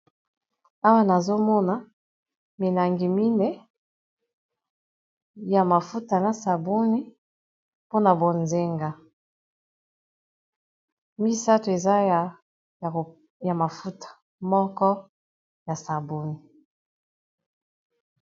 Awa nazomona milangi mine ya mafuta na sabuni pona bozenga misato eza ya mafuta moko ya sabuni .